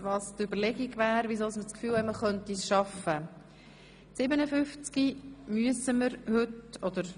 Das Präsidium ist der Meinung, dass wir die Session unter folgenden Bedingungen noch heute abzuschliessen könnten: